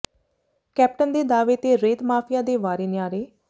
captain ਦੇ ਦਾਅਵੇ ਤੇ ਰੇਤ ਮਾਫ਼ੀਆ ਦੇ ਵਾਰੇ ਨਿਆਰੇ